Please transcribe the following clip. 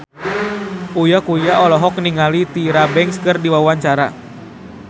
Uya Kuya olohok ningali Tyra Banks keur diwawancara